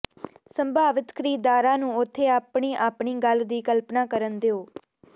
ਸੰਭਾਵਿਤ ਖਰੀਦਦਾਰਾਂ ਨੂੰ ਉੱਥੇ ਆਪਣੀ ਆਪਣੀ ਗੱਲ ਦੀ ਕਲਪਨਾ ਕਰਨ ਦਿਓ